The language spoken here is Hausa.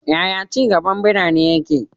Yaya ci gaban birane yake?